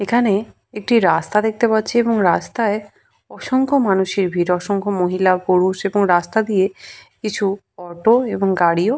এখানে একটি রাস্তা দেখতে পাচ্ছি এবং রাস্তায় অসংখ্য মানুষের ভিড়। অসংখ্য মহিলা পুরুষ এবং রাস্তা দিয়ে কিছু অটো এবং গাড়িও--